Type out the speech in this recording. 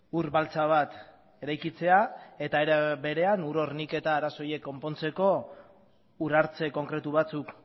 ur baltsa bat eraikitzea eta era berean ur horniketa arazo horiek konpontzeko ur hartze konkretu batzuk